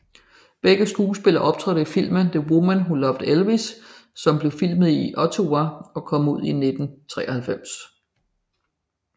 Begge skuespillere optrådte i filmen The Woman Who Loved Elvis som blve filmet i Ottumwa og kom ud i 1993